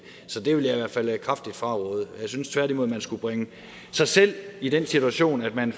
så det vil jeg i hvert fald kraftigt fraråde jeg synes tværtimod at man skulle bringe sig selv i den situation at man